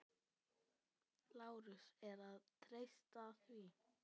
LÁRUS: Er að treysta því?